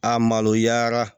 A maloyara